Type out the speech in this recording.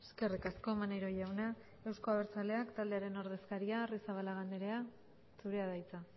eskerrik asko maneiro jauna euzko abertzaleak taldearen ordezkaria arrizabalaga andrea zurea da hitza